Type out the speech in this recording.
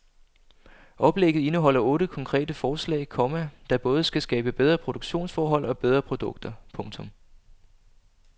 Oplægget indeholder otte konkrete forslag, komma der både skal skabe bedre produktionsforhold og bedre produkter. punktum